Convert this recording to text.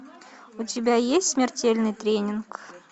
у тебя есть смертельный тренинг